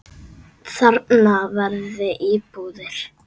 Þarna verði íbúðir.